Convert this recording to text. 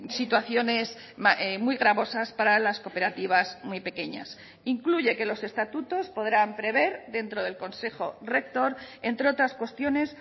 situaciones muy gravosas para las cooperativas muy pequeñas incluye que los estatutos podrán prever dentro del consejo rector entre otras cuestiones